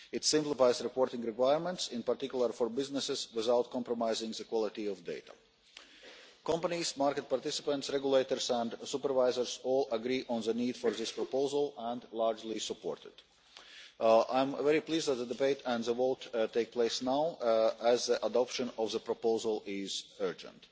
and it simplifies reporting requirements, in particular for businesses without compromising the quality of data. Companies, market participants, regulators and supervisors all agree on the need for this proposal and largely support it. I am very pleased that the debate and the vote takes place now as the adoption of the proposal is urgent.